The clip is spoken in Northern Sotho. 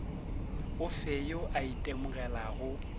o fe yo a itemogelago